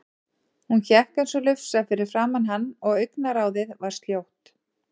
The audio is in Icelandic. Hún hékk eins og lufsa fyrir framan hann og augnaráðið var sljótt.